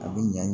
A bɛ ɲa